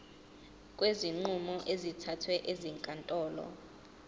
kwezinqumo ezithathwe ezinkantolo